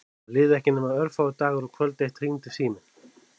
Það liðu ekki nema örfáir dagar og kvöld eitt hringdi síminn.